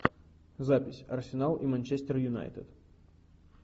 запись арсенал и манчестер юнайтед